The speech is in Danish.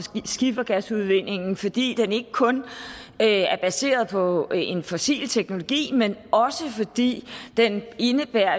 skifergasudvindingen fordi den ikke kun er baseret på en fossil teknologi men også fordi den indebærer